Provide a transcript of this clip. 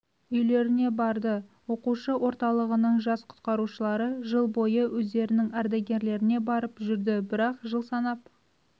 үйлеріне барды оқушы орталығының жас құтқарушылары жыл бойы өздерінің ардагерлеріне барып жүрді бірақ жыл санап